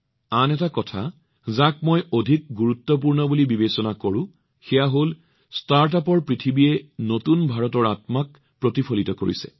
আন এটা কথা যিটো মই অধিক গুৰুত্বপূৰ্ণ বুলি বিবেচনা কৰোঁ সেয়া হল ষ্টাৰ্টআপৰ পৃথিৱীয়ে নতুন ভাৰতৰ আত্মাক প্ৰতিফলিত কৰিছে